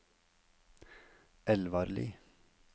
Elvarli